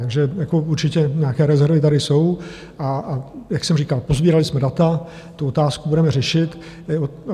Takže určitě nějaké rezervy tady jsou, a jak jsem říkal, posbírali jsme data, tu otázku budeme řešit.